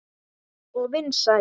Og vinsæl.